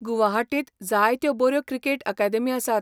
गुवाहाटींत जायत्यो बऱ्यो cricket academy आसात.